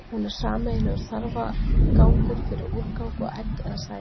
hún er sameiginlegur þarfagangur fyrir úrgang og egg eða sæði